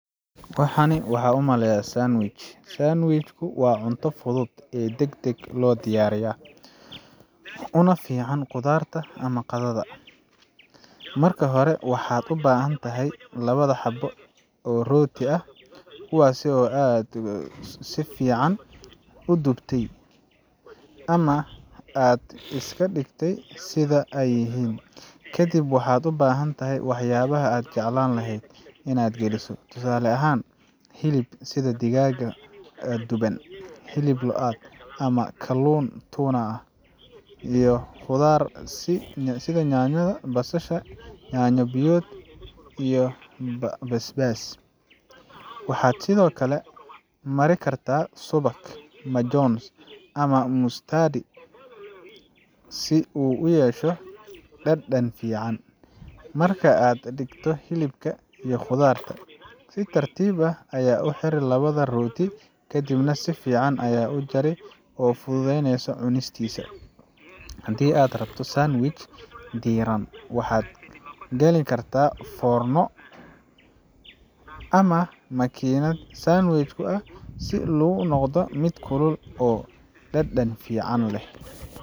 waxan waxaa umaleya sandwich sandwich ku waa cunto fudud ee degdeg loo diyaarin karo, una fiican quraacda ama qadada. Marka hore, waxaad u baahan tahay laba xabbo oo rooti ah, kuwaasoo aad si fiican u dubtay ama aad iska dhigtay sida ay yihiin. Ka dib waxaad u baahan tahay waxyaabaha aad jeclaan lahayd inaad geliso tusaale ahaan, hilib sida digaag duban, hilib lo’aad ama kalluun tuna ah, iyo khudaar sida yaanyo, basal, yaanyo biyot , iyo basbaas. Waxaad sidoo kale mari kartaa subag, majones, ama mustard si uu u yeesho dhadhan fiican. Marka aad dhigtay hilibka iyo khudaarta, si tartiib ah u xir labada rooti, kadibna si fiican u jar si aad u fududeyso cunistisa. Haddii aad rabto sandwich diiran, waxaad gali kartaa foorno ama makiinad sandwich si uu u noqdo mid kulul oo dhadhan fiican leh.